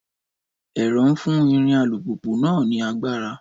Ẹ̀rọ ń fún ìrìn alùpùpù náà ní agbára.